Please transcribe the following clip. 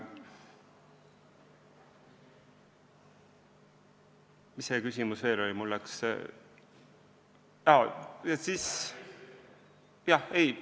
Mis küsimus veel oli?